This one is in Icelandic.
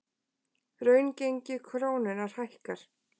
Raungengi krónunnar hækkar